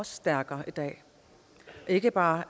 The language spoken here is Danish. stærkere i dag ikke bare